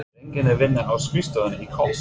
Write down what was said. Er enginn að vinna á skrifstofunni í Kóp?